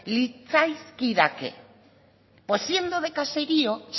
litzaizkidake pues siendo de caserío